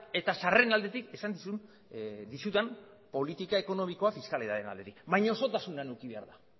eta sarreren aldetik esan dizudan politika ekonomikoa fiskalidadearen aldetik baina osotasunean eduki behar da